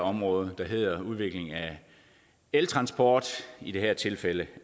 område der hedder udvikling af eltransport i det her tilfælde